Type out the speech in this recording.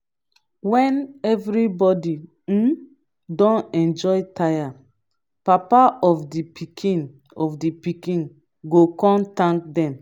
wen evribody um don enjoy tire papa of di pikin of di pikin go kon tank dem